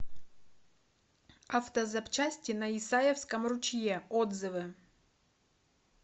автозапчасти на исаевском ручье отзывы